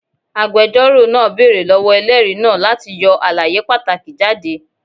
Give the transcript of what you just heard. Agbẹjọro naa beere lọwọ ẹlẹri naa lati yọ alaye pataki jade